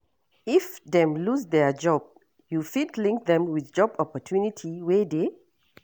If dem lose their job, you fit link them with job opportunity wey dey?